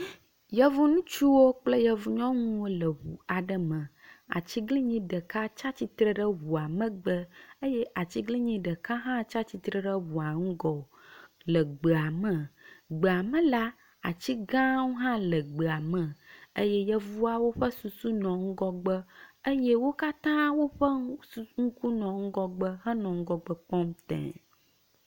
Yevu ŋutsuwo kple yevu nyɔnuwo le ŋu aɖe me. Atiglinyi ɖeka tsi atsitre ɖe ŋua megbe eye atiglinyi ɖeka hã tsi atsitre ɖe ŋua ŋgɔ le gbea me. Le gbea me la, atigãwo hã le gbea me eye yevuawo ƒe susu nɔ ŋgɔgbe eye wo katã woƒe ŋu su ŋku nɔ ŋgɔgbe henɔ ŋgɔgbe kpɔm te.